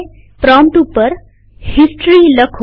prompt ઉપર history લખો